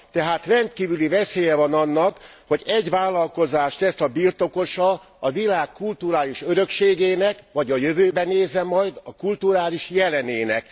Tehát rendkívüli veszélye van annak, hogy egy vállalkozás lesz a birtokosa a világ kulturális örökségének vagy a jövőbe nézve majd a kulturális jelenének.